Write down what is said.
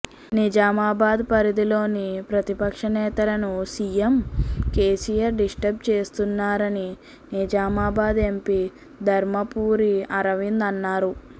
నిజామాబాద్ పరిధిలోని ప్రతిపక్ష నేతలను సీఎం కేసీఆర్ డిస్ట్రబ్ చేస్తున్నారని నిజామాబాద్ ఎంపీ ధర్మపురి అర్వింద్ అన్నారు